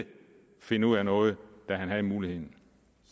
finde ud af noget da han havde muligheden